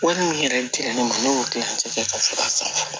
Wari min yɛrɛ dirɛra ne ma ne y'o kilan ci kɛ ka sɔrɔ a san